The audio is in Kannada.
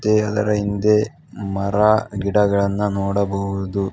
ಅದರ ಹಿಂದೆ ಮರ ಗಿಡಗಳನ್ನ ನೋಡಬಹುದು.